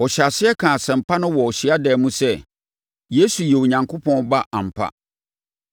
Ɔhyɛɛ aseɛ kaa asɛmpa no wɔ hyiadan mu sɛ, Yesu yɛ Onyankopɔn Ba ampa.